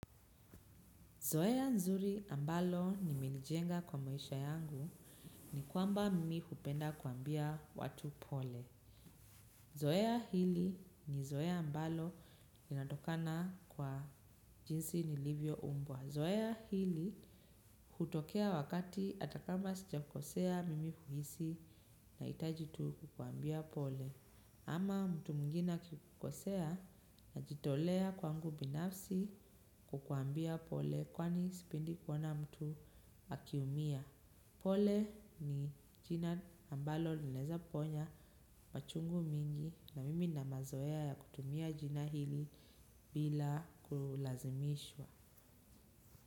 Zoea nzuri ambalo nimelijenga kwa maisha yangu ni kwamba mimi hupenda kuambia watu pole. Zoea hili ni zoea ambalo inatokana kwa jinsi nilivyo umbwa. Zoea hili hutokea wakati atakama sijakosea mimi huhisi nahitaji tu kukuambia pole. Ama mtu mwingine akikukosea najitolea kwangu binafsi kukuambia pole kwani sipendi kuona mtu akiumia. Pole ni jina ambalo linaeza ponya machungu mingi na mimi na mazoea ya kutumia jina hili bila kulazimishwa.